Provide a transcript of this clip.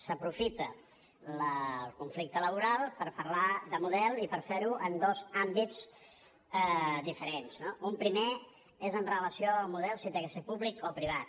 s’aprofita el conflicte laboral per parlar de model i per fer ho en dos àmbits diferents no un primer és amb relació al model si ha de ser públic o privat